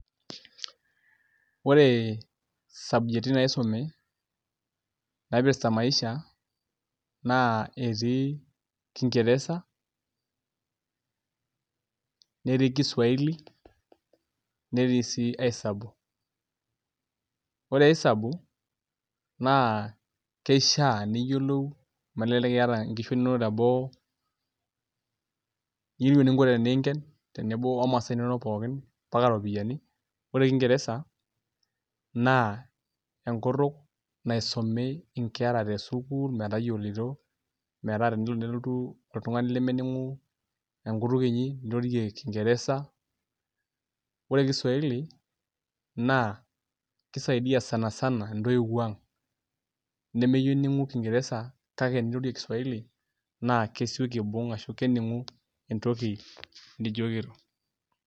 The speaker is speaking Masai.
Ore sabjeti naisumi naipirta maisha naa etii; kingereza, netii kiswaili, netii sii aisabu. Ore aisabu naa kishaa niyiolou amu elelek iyatata inkishu inono teboo, niyiolou eninko teneinken tenebo omasaa inono pookin mbak iropiyian. Ore kingereza naa enkutuk naisumi inkera tesukuul metayioloito metaa tenolo nelotu oltungani lemeyiolo enkutuk inyi niroroe kingereza. Ore kiswaili naa kaisaidia sanasana intoiwuo aang',meninku kingereza kake tenirorie kiswaili naa kesiki aibung' ashu keninku entoki nijokito.